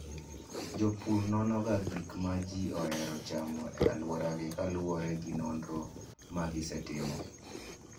Jopur nonoga gik ma ji ohero chamo e alworagi kaluwore gi nonro ma gisetimo.